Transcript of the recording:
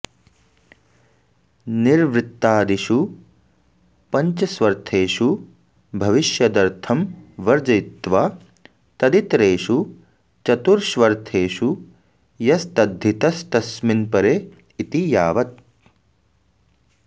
निर्वृत्तादिषु पञ्चस्वर्थेषु भविष्यदर्थं वर्जयित्वा तदितरेषु चतुष्र्वर्थेषु यस्तद्धितस्तस्मिन्परे इति यावत्